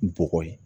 Bɔgɔ ye